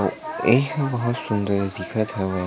एहा बहुत सुन्दर दिखत हवय।